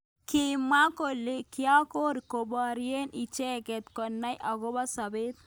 Kimwa kole kiotok koborye icheket konai akobo sabet.